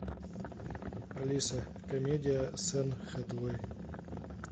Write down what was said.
алиса комедия с энн хэтэуэй